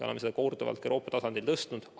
Oleme selle teema korduvalt ka Euroopa tasandil tõstatanud.